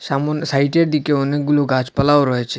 সাম সাইডের দিকে অনেকগুলো গাছপালাও রয়েছে।